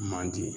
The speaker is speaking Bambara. Manden